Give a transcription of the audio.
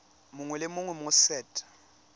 mongwe le mongwe mo set